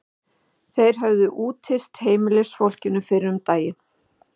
Þeir höfðu úthýst heimilisfólkinu fyrr um daginn.